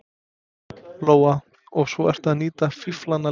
Lóa: Og svo ertu að nýta fíflana líka?